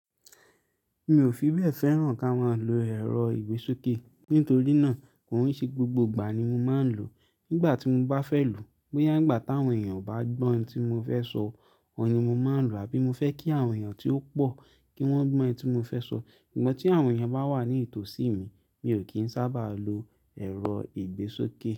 Mi ò fi bẹ́ẹ̀ fẹ́ràn ká máa lo ẹ̀rọ ìgbésókè. Nítorí náà, kòin sé gbogbo ìgbà ni mo máa ń lò ó. Nígbà tí mo bá fẹ́ lò ó, bóyá n gbà tí àwọn èèyàn o bá gbọ́ ntí mo fẹ́ sọ, óhun ni mo n máa lò àbí mo fẹ́ kí àwọn èèyàn tí ó pọ̀ kí wọ́n gbọ́ ntí mo fẹ́ sọ. Sugbọn tí àwọn èèyàn bá wà ní ìtòsí mi, mi ò kí ń sábà lo ẹ̀rọ ìgbésókè.